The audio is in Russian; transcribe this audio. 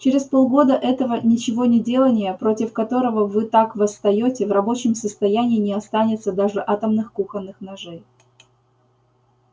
через полгода этого ничегонеделания против которого вы так восстаёте в рабочем состоянии не останется даже атомных кухонных ножей